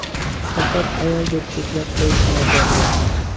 Faqat ayol deb cheklab qo‘yish noto‘g‘ri.